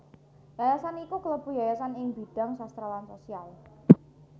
Yayasan iki kalebu yayasan ing bidhang sastra lan sosial